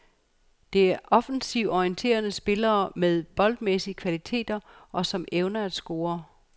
Det er offensivt orienterede spillere med boldmæssige kvaliteter, og som evner at score.